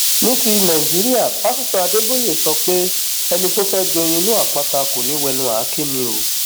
ní ti nàìjíríàpásitọ adéboye sọ pé ẹni tó fẹẹ joyin inú àpáta kò ní í wẹnu àáké ni o